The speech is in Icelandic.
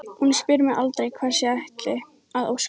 Hún spyr mig aldrei hvers ég ætli að óska mér.